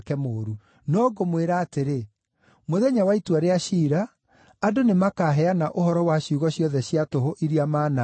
No ngũmwĩra atĩrĩ, mũthenya wa itua rĩa ciira, andũ nĩmakaheana ũhoro wa ciugo ciothe cia tũhũ iria manaaria.